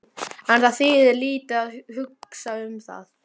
En það þýðir lítið að hugsa um það.